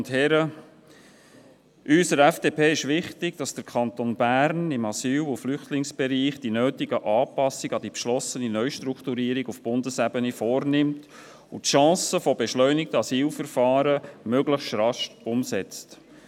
Uns von der FDP ist wichtig, dass der Kanton Bern im Asyl- und Flüchtlingsbereich die nötigen Anpassungen an die beschlossene Neustrukturierung auf Bundesebene vornimmt und die Chance beschleunigter Asylverfahren möglichst rasch umsetzt.